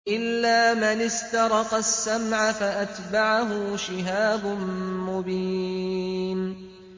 إِلَّا مَنِ اسْتَرَقَ السَّمْعَ فَأَتْبَعَهُ شِهَابٌ مُّبِينٌ